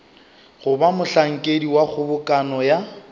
goba mohlankedi wa kgobokano ya